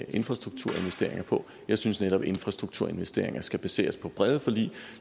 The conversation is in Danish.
infrastrukturinvesteringer på jeg synes netop at infrastrukturinvesteringer skal baseres på brede forlig